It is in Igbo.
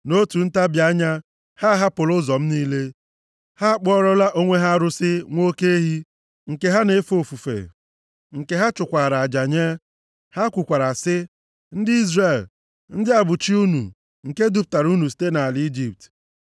Nʼotu ntabi anya a, ha ahapụla ụzọ m niile. Ha akpụọlara onwe ha arụsị nwa oke ehi, nke ha na-efe ofufe, nke ha chụkwaara aja nye. Ha kwukwara sị, ‘Ndị Izrel, ndị a bụ chi unu, nke dupụtara unu site nʼala Ijipt.’ ”